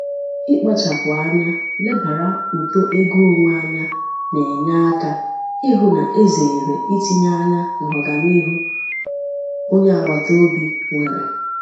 ikpachapụ anya lebara uto ego onwe anya na-enye aka ịhụ na e zeere itinye anya n'ọganihu onye agbataobi nwèrè.